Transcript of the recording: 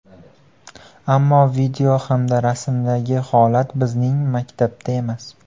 Ammo video hamda rasmdagi holat bizning maktabda emas.